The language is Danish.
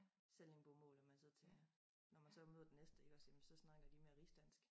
Sallingbomål at man tager når man så møder den næste iggås jamen så snakker d emere rigsdansk